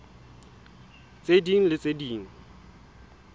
tse ding le tse ding